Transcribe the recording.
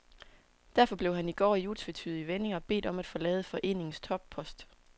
Derfor blev han i går i utvetydige vendinger bedt om at forlade foreningens toppost.